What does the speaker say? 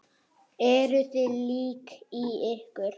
Eruð þið lík í ykkur?